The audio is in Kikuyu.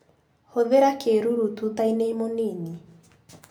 Hũthĩra kĩruru tutainĩ mũnini.